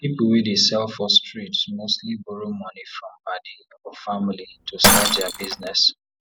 people wey dey sell for street mostly borrow money from padi or family to start their business